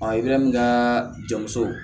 i bɛ min ka jɔn musow